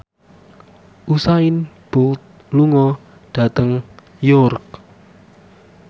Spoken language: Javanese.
Usain Bolt lunga dhateng York